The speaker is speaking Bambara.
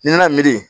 Ni n'a miiri